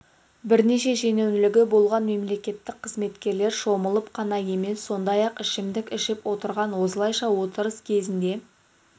бірнеше шенеунігі болған мемлекеттік қызметкерлер шомылып қана емес сондай-ақ ішімдік ішіп отырған осылайша отырыс кезінде